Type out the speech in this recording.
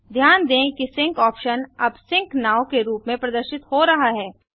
ध्यान दें कि सिंक ऑप्शन अब सिंक नोव के रूप में प्रदर्शित हो रहा है